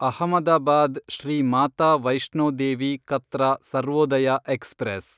Ahmedabad, Shri Mata Vaishno Devi Katra Sarvodaya express